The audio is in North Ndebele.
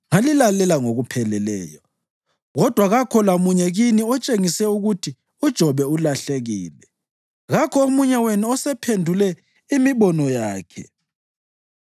ngalilalela ngokupheleleyo. Kodwa kakho lamunye kini otshengise ukuthi uJobe ulahlekile; kakho omunye wenu osephendule imibono yakhe.